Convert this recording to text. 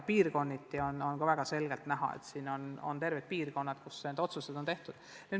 Ka on väga selgelt näha, et on terved piirkonnad, kus need otsused on tehtud.